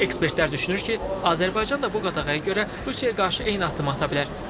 Ekspertlər düşünür ki, Azərbaycan da bu qadağaya görə Rusiyaya qarşı eyni addımı ata bilər.